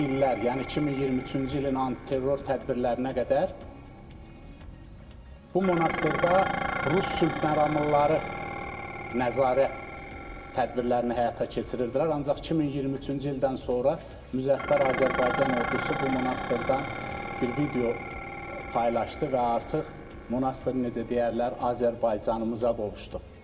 İlk illər, yəni 2023-cü ilin antiterror tədbirlərinə qədər bu monastırda Rus sülhməramlıları nəzarət tədbirlərini həyata keçirdilər, ancaq 2023-cü ildən sonra müzəffər Azərbaycan Ordusu bu monastırdan bir video paylaşdı və artıq monastır necə deyərlər, Azərbaycanımıza qovuşdu.